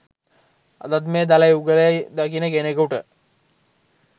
අදත් මේ දළ යුගලය දකින කෙනකුට